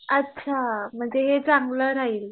अच्छा म्हणजे हे चांगलं राहील.